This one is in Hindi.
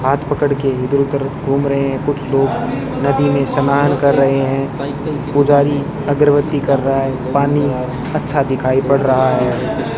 हाथ पकड़ के इधर उधर घूम रहे हैं कुछ लोग नदी में स्नान कर रहे हैं पुजारी अगरबत्ती कर रहा है पानी अच्छा दिखाई पड़ रहा है।